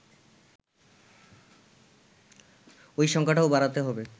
ওই সংখ্যাটাও বাড়াতে হবে